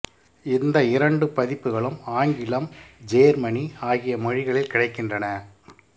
இந்த இரண்டு பதிப்புக்களும் ஆங்கிலம் ஜேர்மனி ஆகிய மொழிகளில் கிடைக்கின்றன